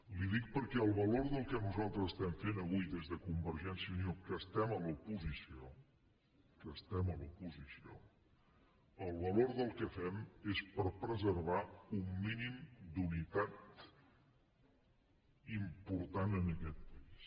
li ho dic perquè el valor del que nosaltres estem fent avui des de convergència i unió que estem a l’oposició que estem a l’oposició el valor del que fem és per preservar un mínim d’unitat important en aquest país